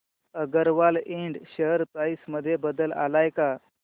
अगरवाल इंड share price मध्ये बदल आलाय का